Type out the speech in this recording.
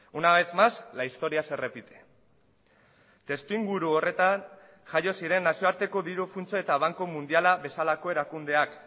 una vez más la historia se repite testuinguru horretan jaio ziren nazioarteko diru funtsa eta banku mundiala bezalako erakundeak